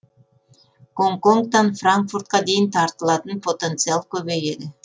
гонконгтан франкфуртқа дейін тартылатын потенциал көбейеді